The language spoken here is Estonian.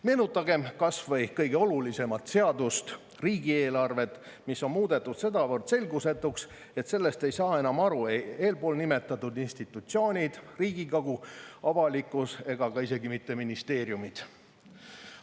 Meenutagem kas või kõige olulisemat seadust, riigieelarvet, mis on muudetud sedavõrd selgusetuks, et sellest ei saa enam aru ei eelnimetatud institutsioonid, Riigikogu, avalikkus ega isegi mitte ministeeriumid.